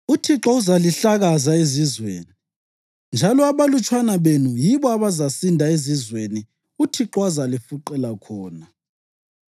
UThixo uzalihlakaza ezizweni, njalo abalutshwana benu yibo abazasinda ezizweni uThixo azalifuqela khona.